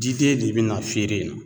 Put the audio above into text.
Jiden de be na feere in na